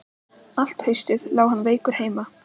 Allt haustið lá hann veikur heima.